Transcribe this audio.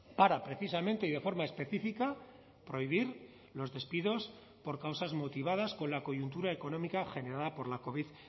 para precisamente y de forma específica prohibir los despidos por causas motivadas con la coyuntura económica generada por la covid